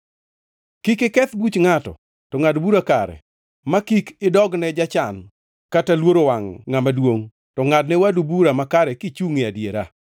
“ ‘Kik iketh buch ngʼato, to ngʼad bura kare ma kik idogne jachan kata luoro wangʼ ngʼama duongʼ, to ngʼadne wadu bura makare kichungʼ e adiera.